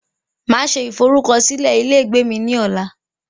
Máa se ìforúkọsílẹ ilé ìgbé mí ní ọ̀la